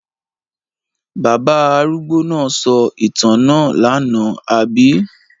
Bàbá arúgbó náà sọ ìtàn náà lánàá, àbí?